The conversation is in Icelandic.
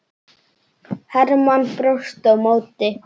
Hermann brosti á móti.